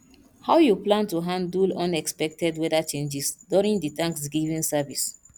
how you plan to handle unexpected weather changes during di thanksgiving service